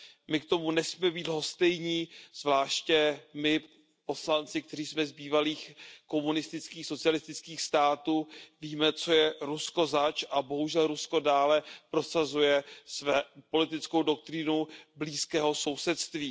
My k tomu nesmíme být lhostejní, zvláště my poslanci, kteří jsme z bývalých komunistických, socialistických států, víme, co je Rusko zač a bohužel Rusko dále prosazuje politickou doktrínu blízkého sousedství.